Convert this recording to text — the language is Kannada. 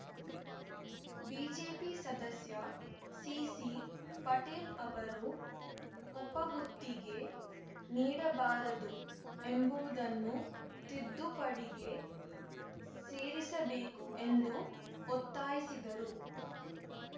ಬಿಜೆಪಿ ಸದಸ್ಯ ಸಿಸಿ ಪಾಟೇಲ್‌ ಅವರು ಉಪ ಗುತ್ತಿಗೆ ನೀಡಬಾರದು ಎಂಬುವುದನ್ನು ತಿದ್ದುಪಡಿಗೆ ಸೇರಿಸಬೇಕು ಎಂದು ಒತ್ತಾಯಿಸಿದರು